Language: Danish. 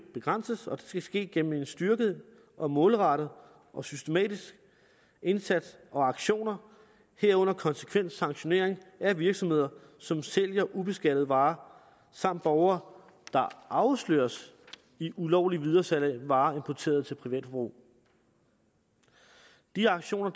begrænses og det skal ske gennem en styrket og målrettet og systematisk indsats og aktioner herunder konsekvent sanktionering af virksomheder som sælger ubeskattede varer samt borgere der afsløres i ulovligt videresalg af varer importeret til privatforbrug de aktioner